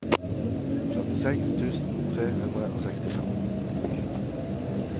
førtiseks tusen tre hundre og sekstifem